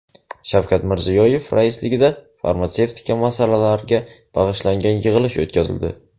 Shavkat Mirziyoyev raisligida farmatsevtika masalalariga bag‘ishlangan yig‘ilish o‘tkazildi.